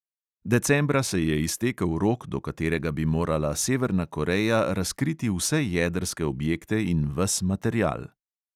Decembra se je iztekel rok, do katerega bi morala severna koreja razkriti vse jedrske objekte in ves material.